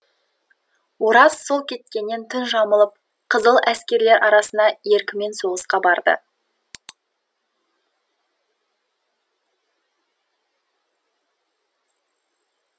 ораз сол кеткеннен түн жамылып қызыл әскерлер арасына еркімен соғысқа барды